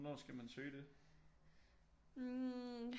Hvornår skal man søge det